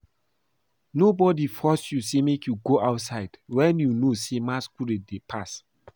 Nobody force you make you go outside wen you know say masquerade dey pass